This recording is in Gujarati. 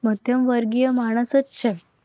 માધ્યમ વર્ગીય માણસ જ છે.